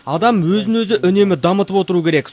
адам өзін өзі үнемі дамытып отыру керек